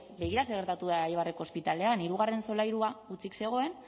begira zer gertatu den eibarko ospitalean hirugarren solairua hutsik zegoen